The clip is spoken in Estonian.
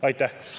Aitäh!